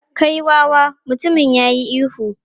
"Kai wawa!" Mutumin ya yi ihu.